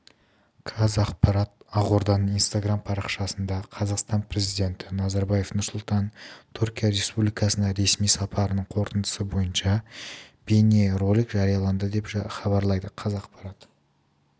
қазақпарат ақорданың инстаграм парақшасында қазақстан президенті нұрсұлтан назарбаевтың түркия республикасына ресми сапарының қорытындысы бойынша бейнеролик жарияланды деп хабарлайды қазақпарат